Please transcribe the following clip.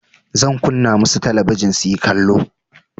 Zan kunna musu talabijin suyi kallo.